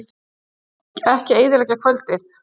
Ekki eyðileggja kvöldið.